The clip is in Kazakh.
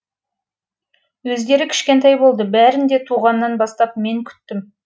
өздері кішкентай болды бәрін де туғаннан бастап мен күттім